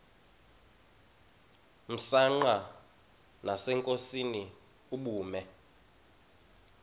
msanqa nasenkosini ubume